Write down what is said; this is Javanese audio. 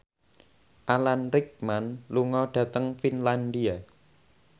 Alan Rickman lunga dhateng Finlandia